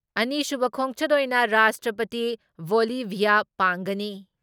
ꯑꯅꯤꯁꯨꯨꯕ ꯈꯣꯡꯆꯠ ꯑꯣꯏꯅ ꯔꯥꯁꯇ꯭ꯔꯄꯇꯤ ꯕꯣꯜꯂꯤꯚꯤꯌꯥ ꯄꯥꯡꯒꯅꯤ ꯫